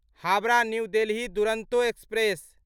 Howrah new Delhi Duronto express